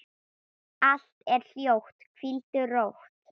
Allt er hljótt, hvíldu rótt.